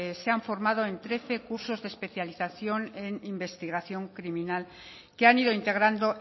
se han formado en trece cursos de especialización en investigación criminal que han ido integrando